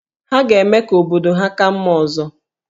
Ha ga-eme ka obodo ha ka mma ọzọ